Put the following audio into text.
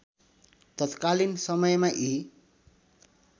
तत्कालीन समयमा यी